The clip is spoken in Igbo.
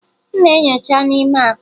M na-enyocha n'ime akpa.